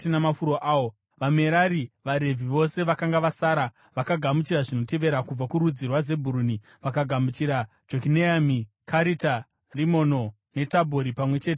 VaMerari (vaRevhi vose vakanga vasara) vakagamuchira zvinotevera: Kubva kurudzi rwaZebhuruni vakagamuchira Jokineami, Karita Rimono, neTabhori pamwe chete namafuro awo;